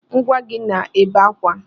Nwa gị na-ebe akwa